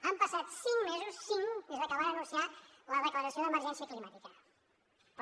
han passat cinc mesos cinc des de que van anunciar la declaració d’emergència climàtica però